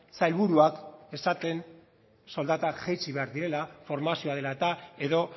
sailburuak esaten soldata jaitsi behar direla formazioa dela eta edo